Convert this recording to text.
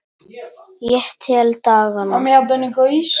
Ég tel dagana.